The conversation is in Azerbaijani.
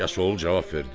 Yasovul cavab verdi.